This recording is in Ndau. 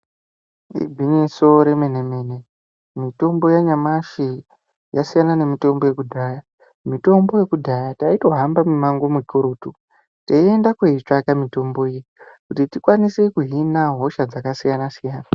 Igwinyiso remene- mene, mitombo yanyamashi yasiyana nemitombo yekudhaya. Mitombo yekudhaya taitohamba mimango mikurutu teyiyenda kuyitsvaka mitombo iyi kuti tikwanise kuhina hosha dzakasiyana -siyana.